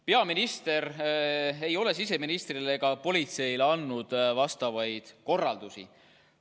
" Peaminister ei ole siseministrile ega politseile andnud vastavaid korraldusi.